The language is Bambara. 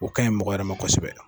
O ka ɲi mɔgɔ wɛrɛ ma kɔsɛbɛ.